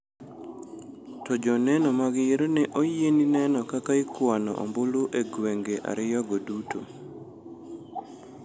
To joneno mag yiero ne oyieni neno kaka ikwano ombulu e gwenge ariyogo duto.